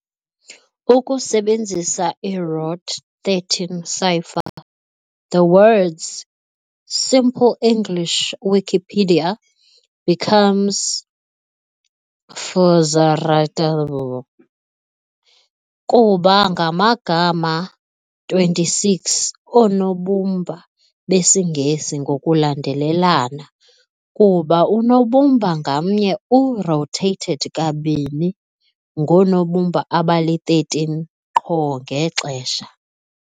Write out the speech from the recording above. Ukusebenzisa i-ROT13 cipher, the words "Simple English Wikipedia" becomes "Fvzcyr Ratyvfu Jvxvcrqvn". Kuba bangama-26 oonobumba besiNgesi ngokulandelelana, kuba unobumba ngamnye u-rotated kanibini ngoonobumba abali-13 qho ngexesha.